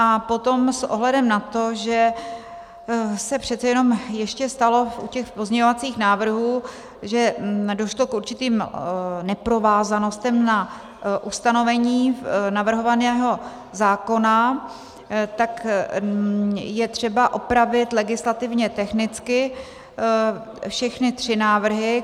A potom s ohledem na to, že se přece jenom ještě stalo u těch pozměňovacích návrhů, že došlo k určitým neprovázanostem na ustanovení navrhovaného zákona, tak je třeba opravit legislativně technicky všechny tři návrhy.